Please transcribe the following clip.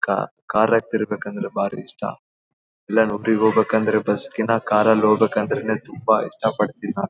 ಕ ಕಾರಗ ತಿರಗ್ ಬೇಕು ಅಂದ್ರೆ ಬಾರಿ ಇಷ್ಟ ಇಲ್ಲೇ ಹೋಗ್ಬೇಕು ಅಂದ್ರೆ ಬಸ್ ಕಿನ ಕಾರ್ ನಲ್ಲೆ ಹೋಗ್ಬೇಕು ಅಂದ್ರೆ ತುಂಬಾ ಇಷ್ಟ ಪಡ್ತೀನಿ ನಾನು.